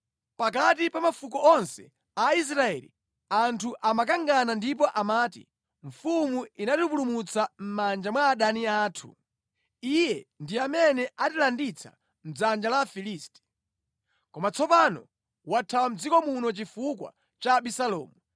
Pakati pa mafuko onse a Israeli, anthu amakangana ndipo amati, “Mfumu inatipulumutsa mʼmanja mwa adani anthu. Iye ndi amene anatilanditsa mʼdzanja la Afilisti. Koma tsopano wathawa mʼdziko muno chifukwa cha Abisalomu.